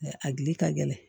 A gili ka gɛlɛn